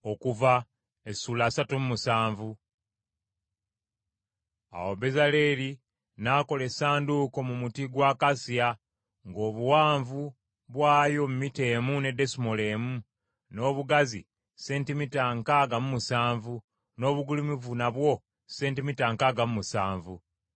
Awo Bezaaleeri n’akola Essanduuko mu muti gwa akasiya; ng’obuwanvu bwayo mita emu ne desimoolo emu, n’obugazi sentimita nkaaga mu musanvu, n’obugulumivu nabwo sentimita nkaaga mu musanvu.